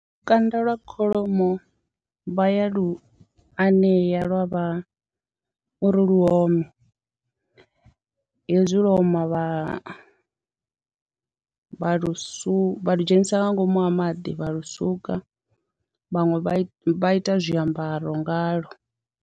Lukanda lwa kholomo vha ya lu anea lwa vha uri lu ome hezwi lwo oma vha vha lusu, vha lu dzhenisia nga ngomu ha maḓi vha lusuka vhaṅwe vha ita zwiambaro ngalo.